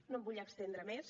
no em vull estendre més